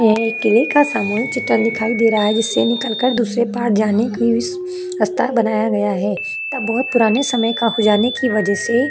यह एक किले का सामूहिक चित्रण दिखाई दे रहा है जिससे निकल कर दूसरे पार जाने के लिए बनाया गया है तब बहुत पुराने समय का हो जाने की वजह से--